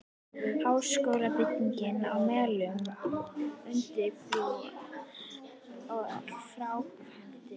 Háskólabyggingin á Melunum- undirbúningur og framkvæmdir